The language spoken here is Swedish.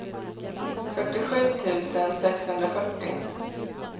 fyrtiosju tusen sexhundrafyrtio